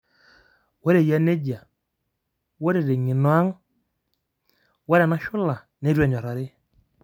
Ore eyia nejia, ore teng'eno aang',ore ena shula neitu enyorari.